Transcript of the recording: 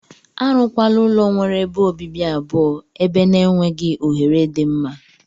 Arụ kwana ulọ nwere ebe obibi abụọ eber na enweghi ohere di mma.